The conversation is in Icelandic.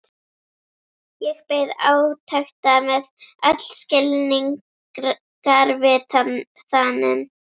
Ég beið átekta með öll skilningarvit þanin.